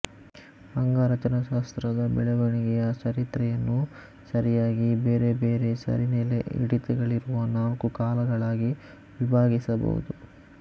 ಅಂಗರಚನಾಶಾಸ್ತ್ರದ ಬೆಳವಣಿಗೆಯ ಚರಿತ್ರೆಯನ್ನು ಸರಿಯಾಗಿ ಬೇರೆಬೇರೆ ಸರಿನೆಲೆ ಹಿಡಿತಗಳಿರುವ ನಾಲ್ಕು ಕಾಲಗಳಾಗಿ ವಿಭಾಗಿಸಬಹುದು